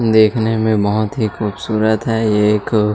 देखने में बहोत खूबसूरत है ये एक--